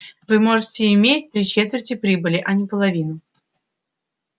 вы можете иметь три четверти прибыли а не половину